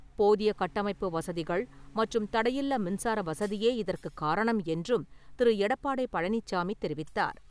போதிய கட்டமைப்பு வசதிகள் மற்றும் தடையில்லா மின்சார வசதியே இதற்குக் காரணம் என்றும் திரு. எடப்பாடி பழனிசாமி தெரிவித்தார்.